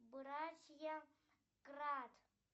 братья крат